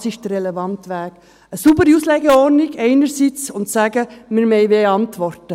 Das ist der relevante Weg, eine saubere Auslegeordnung einerseits und andererseits zu sagen, wir wollten mehr Antworten.